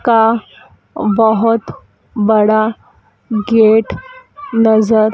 का बहोत बड़ा गेट नजर--